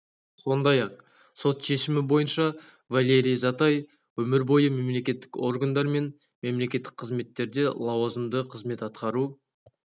сондай-ақ сот шешімі бойынша валерий затай өмір бойы мемлекеттік органдар мен мемлекеттік қызметтерде лауазымды қызмет атқару